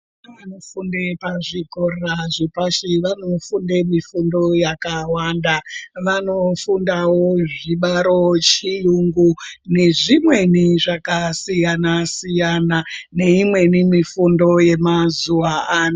Vana vanofunde pazvikora zvepashi, vanofunde mifundo yakawanda. Vanofundawo zvibaro, chiyungu nezvimweni zvakasiyana-siyana , neimweni mifundo yamazuwa ano.